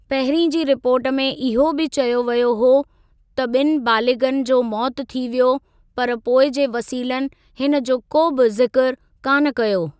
पहिरीं जी रिपोर्ट में इहो बि चयो वियो हो त ॿिनि बालिग़नि जो मौत थी वियो पर पोइ जे वसीलनि हिनजो को बि ज़िक्र कान कयो।